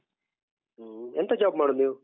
ಹ ಎಂತ job ಮಾಡುದು ನೀವು?